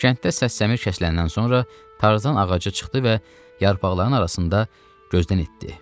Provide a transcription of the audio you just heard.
Kənddə səs-kəsəni kəsiləndən sonra Tarzan ağaca çıxdı və yarpaqların arasında gözdən itdi.